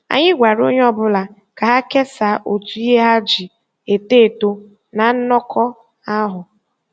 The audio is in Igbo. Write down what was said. Anyị gwara onye ọ bụla ka ha kesaa otu ihe ha ji eto eto na nnọkọ ahụ.